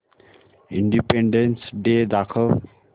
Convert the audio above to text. independence Day दाखव